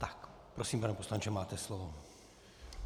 Tak prosím, pane poslanče, máte slovo.